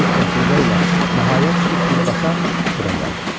Mərdlik və hiylə ilə nəhayət çıxıb birbaşa bura gəldim.